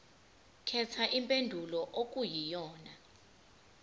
khetha impendulo okuyiyona